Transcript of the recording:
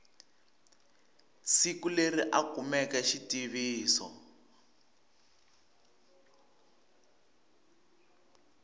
siku leri a kumeke xitiviso